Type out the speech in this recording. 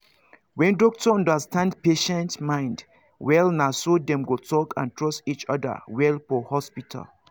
when doctor understand patient mind wellnaso dem go talk and trust each other well for hospital